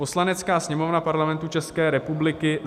"Poslanecká sněmovna Parlamentu České republiky